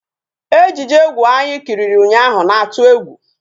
Ejije egwu anyị kiliri ụnyaahụ na-atụ egwu